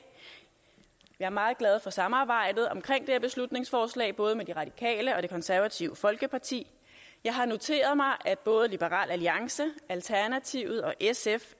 jeg er meget glad for samarbejdet omkring det her beslutningsforslag både med de radikale og det konservative folkeparti jeg har noteret mig at både liberal alliance alternativet og sf